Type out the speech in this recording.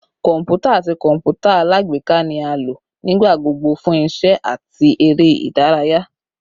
Kọmputa ati kọǹpútà alágbèéká ni a lo nigbagbogbo fun iṣẹ ati ere idaraya